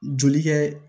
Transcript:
Joli kɛ